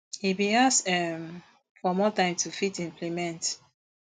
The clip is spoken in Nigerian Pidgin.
e bin ask um for more time to fit implement